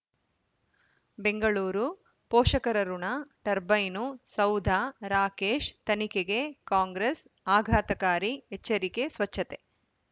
ಬೆಂಗಳೂರು ಪೋಷಕರಋಣ ಟರ್ಬೈನು ಸೌಧ ರಾಕೇಶ್ ತನಿಖೆಗೆ ಕಾಂಗ್ರೆಸ್ ಆಘಾತಕಾರಿ ಎಚ್ಚರಿಕೆ ಸ್ವಚ್ಛತೆ